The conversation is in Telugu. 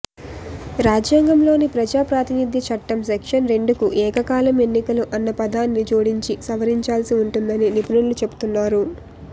రాజ్యాంగంలోని ప్రజాప్రాతినిధ్యచట్టం సెక్షన్ రెండుకు ఏకకాలం ఎన్నికలు అన్న పదాన్ని జోడించి సవరించాల్సి ఉంటుందని నిపుణులు చెపుతున్నారు